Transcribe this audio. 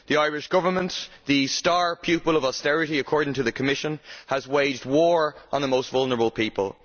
The Irish Government, the star pupil of austerity according to the Commission, has waged war on the most vulnerable people.